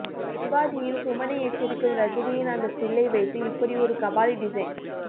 சிவாஜியில் சுமனை எச்சரிக்கும் ரஜினியின் அந்த ஸ்டில்லை வைத்து இப்படி ஒரு கபாலி டிசைன்